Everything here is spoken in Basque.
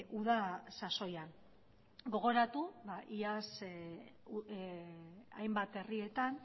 uda sasoian gogoratu iaz hainbat herrietan